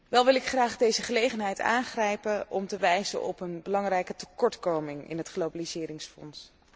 Wel wil ik graag deze gelegenheid aangrijpen om te wijzen op een belangrijke tekortkoming in het globaliseringsfonds.